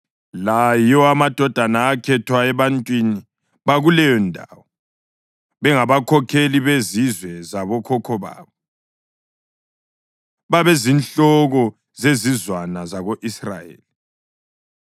La yiwo amadoda akhethwa ebantwini bakuleyondawo, bengabakhokheli bezizwe zabokhokho babo. Babezinhloko zezizwana zako-Israyeli.